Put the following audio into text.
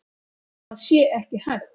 Það sé ekki hægt.